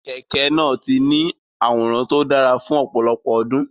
Kẹ̀kẹ́ náà ti ní àwòrán tó dára fún ọ̀pọ̀lọpọ̀ ọdún.